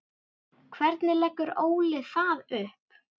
Hvernig leggur Óli það upp?